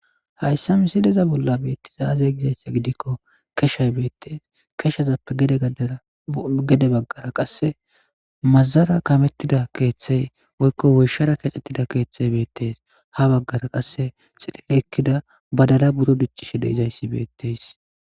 hayssa misileza bolla beettizaazey gizayssa gidikko keshay beettees keshazappe gede baggara qasse mazara kamettida keeththey woykko woyshara kecettida keeththey beettees ha baggara qasse xilile ekkida badala buro dichishe deizayssi beetteys